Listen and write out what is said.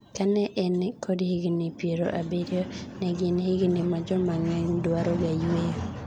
Ka ne en kod higni piero abirio, ne gin higni ma joma ng'eeny dwaroga yweyo.